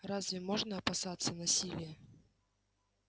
разве можно опасаться насилия